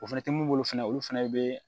O fɛnɛ tɛ mun bolo fɛnɛ olu fana bɛ